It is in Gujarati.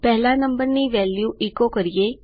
પહેલા નંબરનું મુલ્ય એચો કરીએ